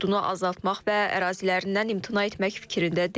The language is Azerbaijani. Ordunu azaltmaq və ərazilərindən imtina etmək fikrində deyil.